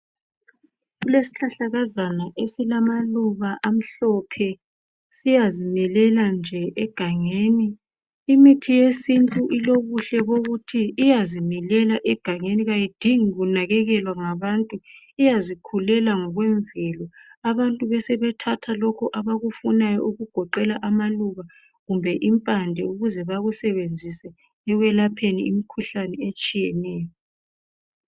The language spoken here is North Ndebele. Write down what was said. Kulesihlahlakazana esilamaluba amhlophe siyazimilela nje egangeni, imithi yesintu ilobuhle bokuthi iyazimilela egangeni kayidingi kunakekelwa ngabantu, iyazikhulela ngokwemvelo abantu besebethatha lokho abakufunayo okugoqela amaluba kumbe impande ukuze bakusebenzise ekwelapheni imkhuhlane etshiyeneyo.